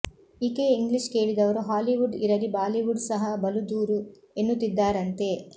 ಈಕೆಯ ಇಂಗ್ಲೀಷ್ ಕೇಳಿದವರು ಹಾಲಿವುಡ್ ಇರಲಿ ಬಾಲಿವುಡ್ ಸಹ ಬಲು ದೂರು ಎನ್ನುತ್ತಿದ್ದಾರಂತೆ